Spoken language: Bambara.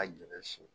A jɔ sen